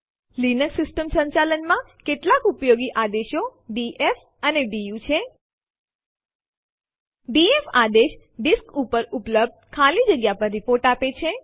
Linux system સંચાલન માં કેટલાક ઉપયોગી આદેશો ડીએફ અને ડીયુ છે ડીએફ આદેશ ડિસ્ક પર ઉપલબ્ધ ખાલી જગ્યા પર રીપોર્ટ આપે છે